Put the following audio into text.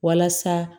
Walasa